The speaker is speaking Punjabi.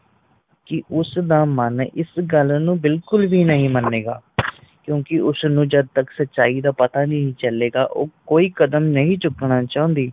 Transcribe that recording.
ਕਿ ਉਸਦਾ ਮਨ ਇਸ ਗੱਲ ਨੂੰ ਬਿਲਕੁਲ ਵੀ ਨਹੀਂ ਮਣੇਗਾ ਕਿਉਕਿ ਉਸਨੂੰ ਜਦ ਤੱਕ ਸੱਚਾਈ ਦਾ ਪਤਾ ਨਹੀਂ ਚਲੇ ਗਾ ਉਹ ਕੋਈ ਕਦਮ ਨਹੀਂ ਚੁੱਕਣਾ ਚਾਂਦੀ।